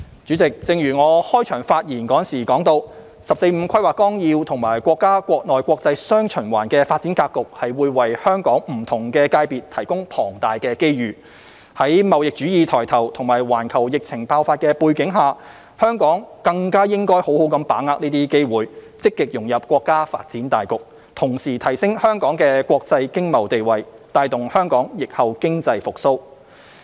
主席，正如我在開場發言提到，《十四五規劃綱要》及國家國內國際"雙循環"的發展格局會為香港不同界別提供龐大的機遇，在貿易主義抬頭及環球疫情爆發的背景下，香港更加應該好好把握這些機會，積極融入國家發展大局，同時提升香港的國際經貿地位，帶動香港疫後經濟復蘇。